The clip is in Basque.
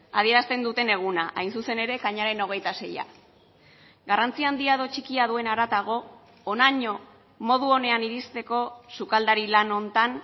adierazten duten eguna hain zuzen ere ekainaren hogeita seia garrantzi handia edo txikia duen haratago honaino modu onean iristeko sukaldari lan honetan